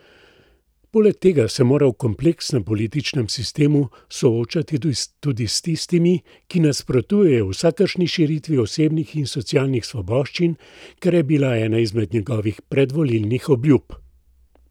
Poleg tega se mora v kompleksnem političnem sistemu soočati tudi s tistimi, ki nasprotujejo vsakršni širitvi osebnih in socialnih svoboščin, kar je bila ena izmed njegovih predvolilnih obljub.